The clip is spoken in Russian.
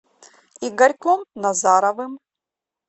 игорьком назаровым